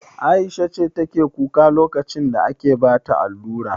Aisha ce take kuka lokacin da ake bata allura?